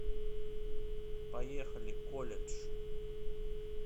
поехали колледж